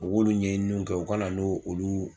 U k'ulu ɲɛɲininiw kɛ u ka na nu olu